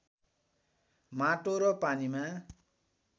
माटो र पानीमा